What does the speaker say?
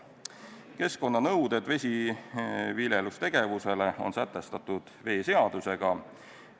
Keskkonnanõuded vesiviljelustegevusele on sätestatud veeseadusega.